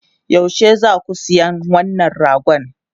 Yaushe za ku zo siyan wannan ragon?